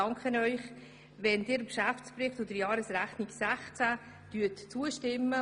Ich danke Ihnen, wenn Sie dem Geschäftsbericht und der Jahresrechnung 2016 zustimmen.